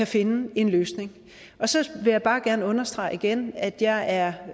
finde en løsning så vil jeg bare gerne understrege igen at jeg er